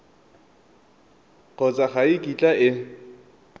kgotsa ga e kitla e